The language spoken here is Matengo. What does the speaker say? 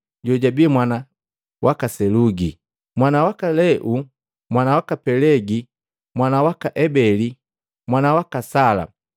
jojabi mwana waka Selugi, mwana waka Leu, mwana waka Pelegi, mwana waka Ebeli, mwana waka Sala,